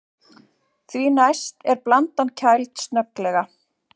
Því næst er blandan kæld snögglega.